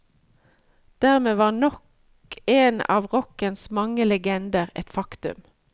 Dermed var nok en av rockens mange legender et faktum.